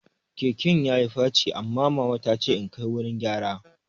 Keken yayi faci, amma mama tace in kai wurin gyara